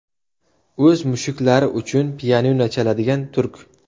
O‘z mushuklari uchun pianino chaladigan turk.